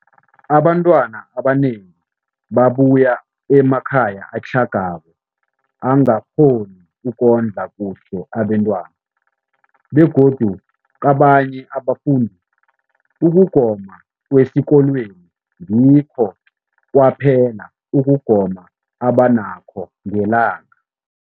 Abantwana abanengi babuya emakhaya atlhagako angakghoni ukondla kuhle abentwana, begodu kabanye abafundi, ukugoma kwesikolweni ngikho kwaphela ukugoma abanakho ngelanga.